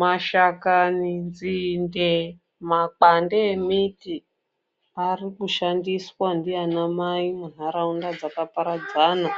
Mashakani, nzinde ne makwande embiti arikushandiswa ndianamai munharaunda dzakaparadzana